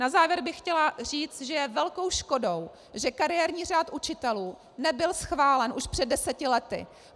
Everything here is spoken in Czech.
Na závěr bych chtěla říct, že je velkou škodou, že kariérní řád učitelů nebyl schválen už před deseti lety.